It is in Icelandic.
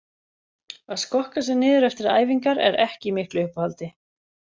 Að skokka sig niður eftir æfingar er ekki í miklu uppáhaldi.